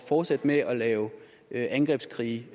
fortsætte med at lave angrebskrige